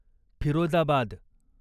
Firozabad